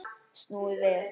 Snúið við!